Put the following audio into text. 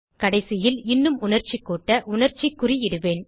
கடைசியில் இன்னும் உணர்ச்சி கூட்ட உணர்ச்சி குறி இடுவேன்